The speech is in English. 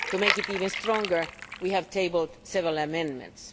To make it even stronger, we have tabled several amendments.